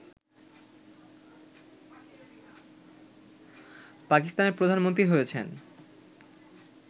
পাকিস্তানের প্রধানমন্ত্রী হয়েছেন